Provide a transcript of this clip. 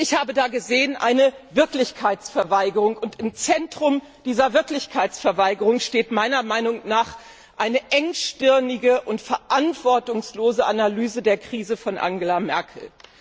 Ich habe da eine Wirklichkeitsverweigerung gesehen, und im Zentrum dieser Wirklichkeitsverweigerung steht meiner Meinung nach eine engstirnige und verantwortungslose Analyse der Krise von Angela Merkel.